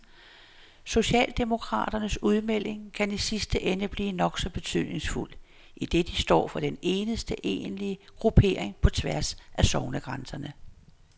Socialdemokraternes udmelding kan i sidste ende blive nok så betydningsfuld, idet de står for den eneste egentlige gruppering på tværs af sognegrænserne.